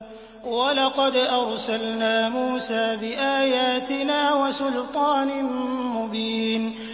وَلَقَدْ أَرْسَلْنَا مُوسَىٰ بِآيَاتِنَا وَسُلْطَانٍ مُّبِينٍ